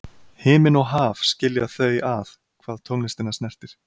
Himinn og haf skilja þau að hvað tónlistina snertir.